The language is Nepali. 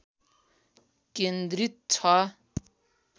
केन्द्रित छ